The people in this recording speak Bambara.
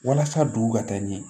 Walasa dugu ka taa ɲɛ